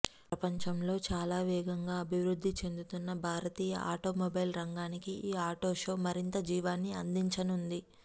ప్రపంచంలో చాలా వేగంగా అభివృద్ధి చెందుతున్న భారతీయ ఆటోమొబైల్ రంగానికి ఈ ఆటో షో మరింత జీవాన్ని అందించనుంది